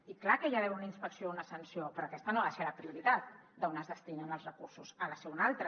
i clar que hi ha d’haver una inspecció o una sanció però aquesta no ha de ser la prioritat d’on es destinen els recursos ha de ser una altra